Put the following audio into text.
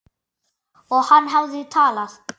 Og hann hafði talað.